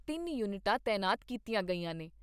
ਤਿੰਨ ਯੂਨਿਟਾਂ ਤਾਇਨਾਤ ਕੀਤੀਆਂ ਗਈਆਂ ਨੇ।